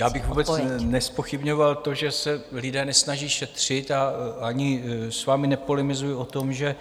Já bych vůbec nezpochybňoval to, že se lidé nesnaží šetřit, a ani s vámi nepolemizuji o tom, že